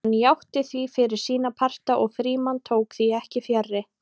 Hann játti því fyrir sína parta og Frímann tók því ekki fjarri.